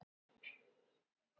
Hvað er að hafa tögl og hagldir?